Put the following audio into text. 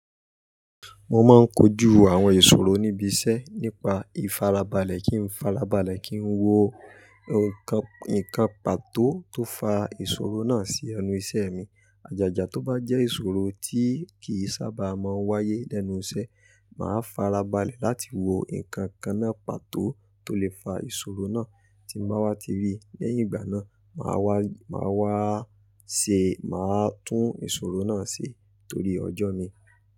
Mo máa ń kojú àwọn ìṣòro níbi iṣẹ́ nípa ìfarabalẹ̀ kí ń farabalẹ̀ kí ń wo nǹkan, ìkan pàtó tó fa ìṣòro náà sí ẹnu ìṣe mi. Ajaja tó bá jẹ́ ìṣòro tí kì í sábà máa ń wáyé lẹ́nu iṣẹ́, màá farabalẹ̀ láti wo ǹkan kan náà pàtó tó lè fa ìṣòro náà. Tí mo báwa ti rí i lẹ́yìn ìgbà náà, màá wá, màá wá ṣe, màá tún ìṣòro náà ṣe torí ọjọ́ mi.